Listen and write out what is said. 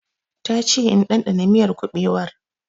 Ta che in dandana miyar kuɓewar